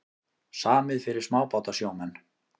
Samið fyrir smábátasjómenn